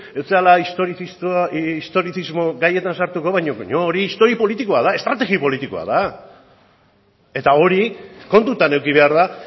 ez zara historizismo gaietan sartuko baina hori histori politikoa estrategi politikoa da eta hori kontutan eduki behar da